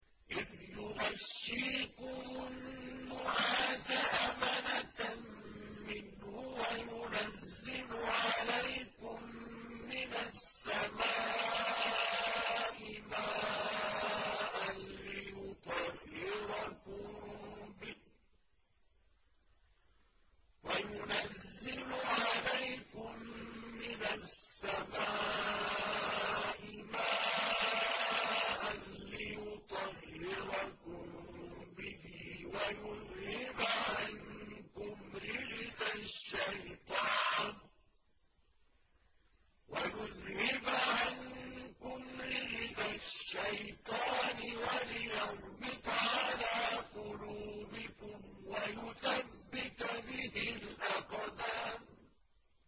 إِذْ يُغَشِّيكُمُ النُّعَاسَ أَمَنَةً مِّنْهُ وَيُنَزِّلُ عَلَيْكُم مِّنَ السَّمَاءِ مَاءً لِّيُطَهِّرَكُم بِهِ وَيُذْهِبَ عَنكُمْ رِجْزَ الشَّيْطَانِ وَلِيَرْبِطَ عَلَىٰ قُلُوبِكُمْ وَيُثَبِّتَ بِهِ الْأَقْدَامَ